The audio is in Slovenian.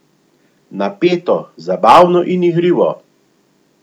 Napeto, zabavno in igrivo!